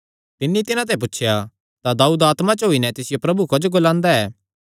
तिन्नी तिन्हां ते पुछया तां दाऊद आत्मा च होई नैं तिसियो प्रभु क्जो ग्लांदा ऐ